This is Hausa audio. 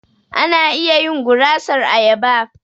Ana iya yin gurasar ayaba.